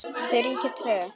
Þau ríkja tvö.